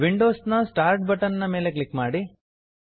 Windows ನ start button ನ ಮೇಲೆ ಕ್ಲಿಕ್ ಮಾಡಿ